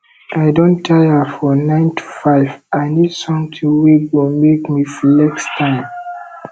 i don tire for 9to5 i need something wey go make me flex time